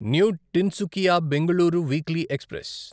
new Tinsukia Bengaluru weekly express